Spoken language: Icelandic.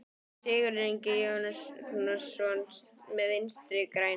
Sigurður Ingi Jóhannsson: Með Vinstri-grænum?